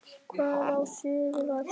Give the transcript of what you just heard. Hvað á suður að gera?